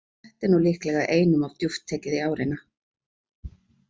Þetta er nú líklega einum of djúpt tekið í árina.